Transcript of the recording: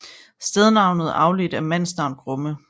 Stednavnet er afledt af mandsnavn Grumme